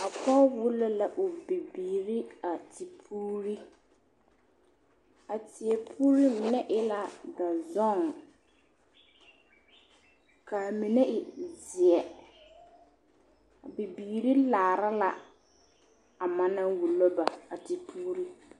A pɔge wulo la o bibiiri a tepuuri a tie puuri mine e la dɔzɔŋ kaa mine e zeɛ bibiiri kaara la a ma naŋ wulo ba a tepuuri